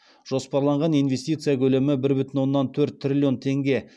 жоспарланған инвестиция көлемі бір бүтін оннан төрт триллион теңге